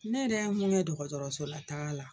Ne yɛrɛ ye mun kɛ dɔgɔtɔrɔso la taga la